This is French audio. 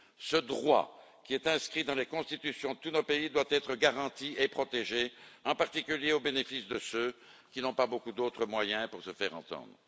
Ce droit, qui est inscrit dans les constitutions de tous nos pays, doit être garanti et protégé, en particulier au bénéfice de ceux qui n'ont pas beaucoup d'autres moyens pour se faire entendre.